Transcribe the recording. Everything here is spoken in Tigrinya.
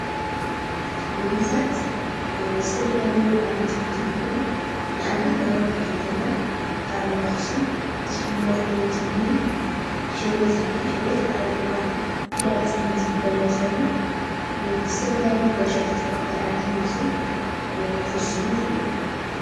ምግብታት ዝተፈላለዩ ዓይነት ክሕዙ ይኽእሉ ንኣብነት ናብ ርሑቅ ከይከድና ኣብ ኣኽሱም ዝፍለጥ ዓይነት ምግቢ ሕልበት እኒአ ሕልበት ኣብ እዋን ህዳር ፅዮን ዝግበር እንትከውን ብዝተፈላለየ ጋሻታት ካብ ካሊእ ዓዲ ዝመፁ ክኩስሙ ይኽእሉ።